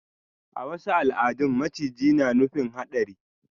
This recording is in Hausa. A wasu al'adun maciji na nufin hadari.